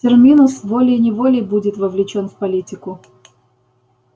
терминус волей-неволей будет вовлечён в политику